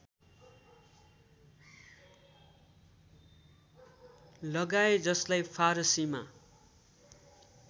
लगाए जसलाई फारसीमा